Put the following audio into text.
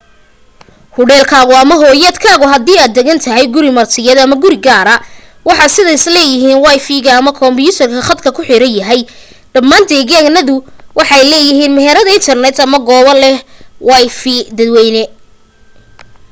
hudheelkaagu ama hoyaadkaagu hadii aad degan tahay guri martiyeed ama guri gaara waxa sida badan leeyihiin wifi ama kumbiyuutar khadka ku xiran yahay dhammaan deegaanaduna waxay leeyihiin meherad internet ama goobo leh wifi dadwayne